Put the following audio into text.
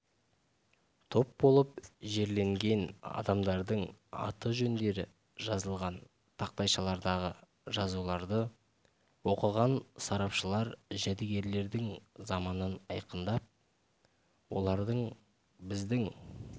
топ болып жерленген адамдардың аты-жөндері жазылған тақтайшалардағы жазуларды оқыған сарапшылар жәдігерлердің заманын айқындап олардың біздің